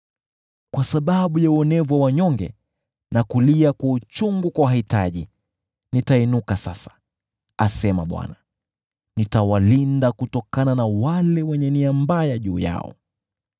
“Kwa sababu ya uonevu wa wanyonge na kulia kwa uchungu kwa wahitaji, nitainuka sasa,” asema Bwana . “Nitawalinda kutokana na wale wenye nia mbaya juu yao.”